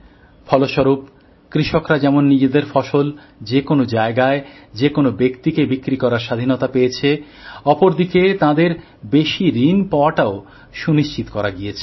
ফলস্বরূপ কৃষকরা যেমন নিজেদের ফসল যে কোন জায়গায় যে কোন ব্যক্তিকে বিক্রি করার স্বাধীনতা পেয়েছে অন্যদিকে তাঁদের বেশি ঋণ পাওয়াটাও সুনিশ্চিত করা গেছে